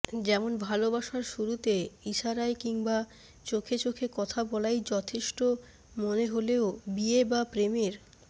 যেমন ভালোবাসার শুরুতে ইশারায় কিংবা চোখে চোখে কথা বলাই যথেষ্ট মনে হলেও বিয়ে বা প্রেমের